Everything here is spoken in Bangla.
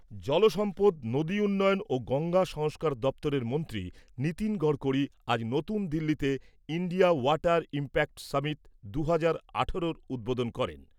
জল সম্পদ, নদী উন্নয়ন ও গঙ্গা সংস্কার দপ্তরের মন্ত্রী নীতিন গড়কড়ি আজ নতুন দিল্লিতে, ইণ্ডিয়া ওয়াটার ইম্প্যাক্ট সামিট দু হাজার আঠারোর উদ্বোধন করেন।